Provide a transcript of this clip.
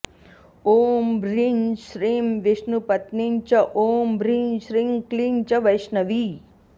ॐ ह्रीं श्रीं विष्णुपत्नी च ॐ ह्रीं श्रीं क्लीं च वैष्णवी